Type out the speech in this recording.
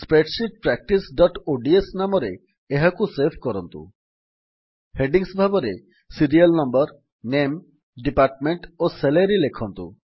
spreadsheet practiceଓଡିଏସ ନାମରେ ଏହାକୁ ସେଭ୍ କରନ୍ତୁ ହେଡିଙ୍ଗ୍ସ ଭାବରେ ସିରିଆଲ୍ ନମ୍ବର ନାମେ ଡିପାର୍ଟମେଣ୍ଟ ଓ ସାଲାରୀ ଲେଖନ୍ତୁ